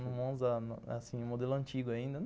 Um Monza, assim, modelo antigo ainda.